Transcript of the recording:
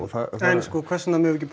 en hvers vegna meigum við ekki